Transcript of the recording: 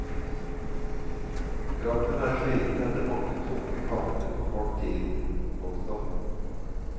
Kroppen er sliten etter mange tunge kamper på kort tid. punktum